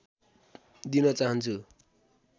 दिन चाहन्छु